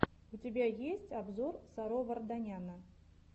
у тебя есть обзор саро варданяна